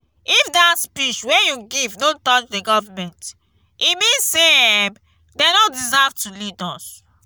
if dat speech wey you give no touch the government e mean say um dey no deserve to lead us